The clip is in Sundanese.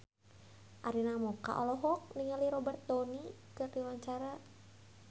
Arina Mocca olohok ningali Robert Downey keur diwawancara